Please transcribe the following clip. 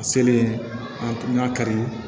A selen an y'a kari